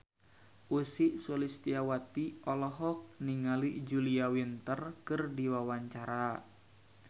Ussy Sulistyawati olohok ningali Julia Winter keur diwawancara